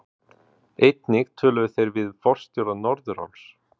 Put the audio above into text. Einnig töluðu þeir við forstjóra Norðuráls